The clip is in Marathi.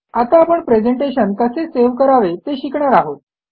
आता आपण प्रेझेंटेशन कसे सेव्ह करावे ते शिकणार आहोत